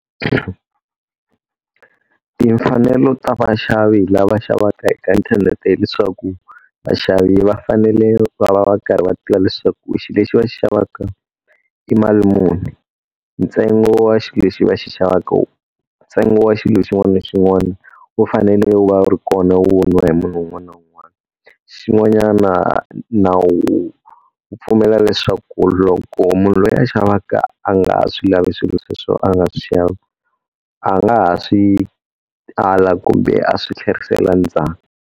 Timfanelo ta vaxavi lava xavaka eka inthanete hileswaku, vaxavi va fanele va va va karhi va tiva leswaku xilo lexi va xavaka i mali muni. Ntsengo wa xilo lexi va xi xavaka ntsengo wa xilo xin'wana na xin'wana wu fanele wu va wu ri kona wu voniwa hi munhu un'wana na un'wana. Xin'wanyana nawu wu pfumela leswaku loko munhu loyi a xavaka a nga ha swi lavi swilo sweswo a nga swi xava, a nga ha swi ala kumbe a swi tlherisela ndzhaku.